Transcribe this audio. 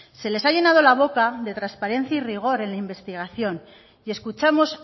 se les ha llenado la boca de transparencia y rigor en la investigación y escuchamos